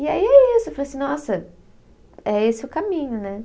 E aí é isso, eu falei assim, nossa, é esse o caminho, né.